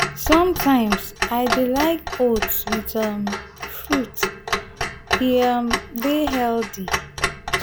sometimes i dey like oats with um fruits; e um dey healthy.